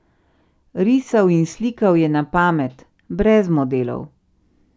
Risal in slikal je na pamet, brez modelov.